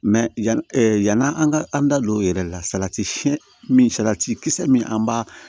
yan yani an ka an da don o yɛrɛ la salati siyɛn min salati kisɛ min an b'a